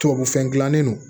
Tubabu fɛn dilannen don